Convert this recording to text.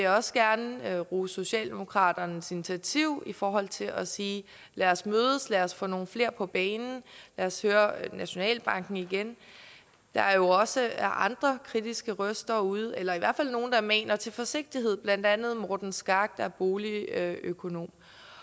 også gerne rose socialdemokraternes initiativ i forhold til at sige lad os mødes lad os få nogle flere på banen lad os høre nationalbanken igen der er også andre kritiske røster ude eller i hvert fald nogle der maner til forsigtighed blandt andet morten skak der er boligøkonom